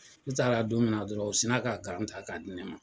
N taara don min na dɔrɔn o sin ka gan ta k'a di ne ma.